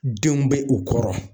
Denw be u kɔrɔ